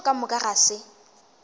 tšeo ka moka ga se